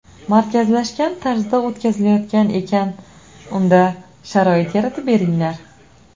Markazlashgan tarzda o‘tkazilayotgan ekan unda sharoit yaratib beringlar.